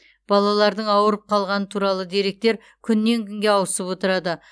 балалардың ауруып қалғаны туралы деректер күннен күнге ауысып отырады